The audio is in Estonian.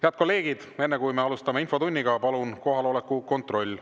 Head kolleegid, enne kui me alustame infotundi, palun kohaloleku kontroll.